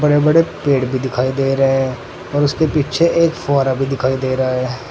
बड़े बड़े पेड़ भी दिखाई दे रहे है और उसके पीछे एक फुहारा भी दिखाई दे रहा है।